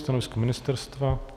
Stanovisko ministerstva?